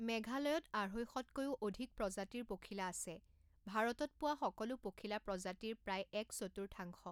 মেঘালয়ত আঢ়ৈশতকৈও অধিক প্ৰজাতিৰ পখিলা আছে, ভাৰতত পোৱা সকলো পখিলা প্ৰজাতিৰ প্ৰায় এক চতুৰ্থাংশ।